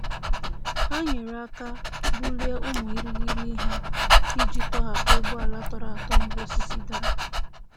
Ha nyere aka bulie ụmụ irighiri ihe iji tọhapụ ụgbọala tọrọ atọ mgbe osisi dara.